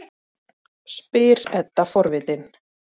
spyr Edda forvitin.